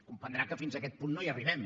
comprendrà que fins a aquest punt no hi arribem